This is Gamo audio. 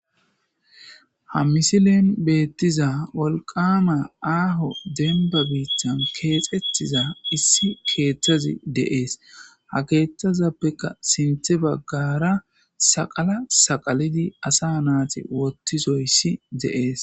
Ha misilen beettiza wolqama aaho denba biichan keexethiza issi keeththazi deees ha keeththazappeka sinthe baggara saqala saqalidi asa naati wottizoyssi de'ees.